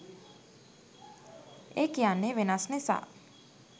ඒ කියන්නේ වෙනස් නිසා